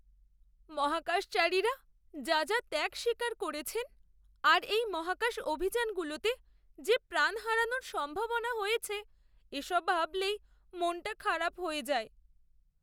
মহাকাশচারীরা যা যা ত্যাগ স্বীকার করেছেন, আর এই মহাকাশ অভিযানগুলোতে যে প্রাণ হারানোর সম্ভাবনা হয়েছে, এসব ভাবলেই মনটা খারাপ হয়ে যায়ে।